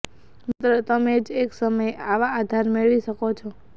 માત્ર તમે જ એક સમયે આવા આધાર મેળવી શકો છો